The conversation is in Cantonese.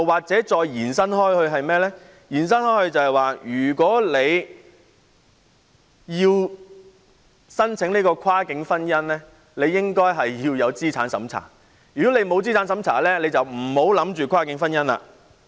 再延伸下去，如果要申請跨境婚姻便要通過資產審查，否則就不要考慮跨境婚姻了。